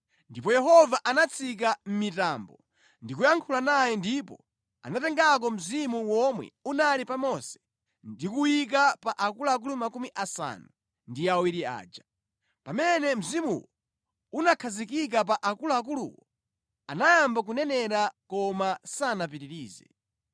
Ndipo Yehova anatsika mʼmitambo ndi kuyankhula naye ndipo anatengako mzimu womwe unali pa Mose ndi kuwuyika pa akuluakulu makumi asanu ndi awiri aja. Pamene mzimuwo unakhazikika pa akuluakuluwo, anayamba kunenera koma sanapitirize.